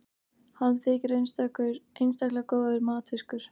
hann þykir einstaklega góður matfiskur